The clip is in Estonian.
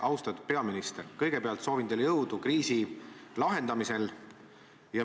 Austatud peaminister, kõigepealt soovin teile jõudu kriisi lahendamisel.